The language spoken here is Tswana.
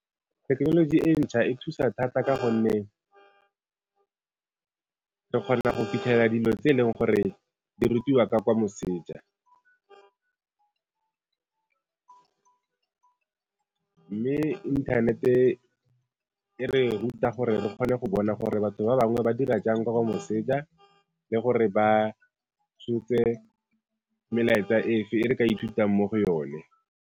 Thekenoloji e ntšhwa e thusa thata ka gonne re kgona go fitlhelela dilo tse e leng gore di rutiwa ka kwa moseja, mme inthanete e re ruta gore re kgone go bona gore batho ba bangwe ba dira jang ka kwa moseja le gore ba tshotse melaetsa fa e re ka ithutang mo go yone.